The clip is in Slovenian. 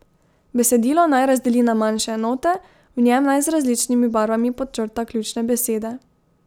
Besedilo naj razdeli na manjše enote, v njem naj z različnimi barvami podčrta ključne besede.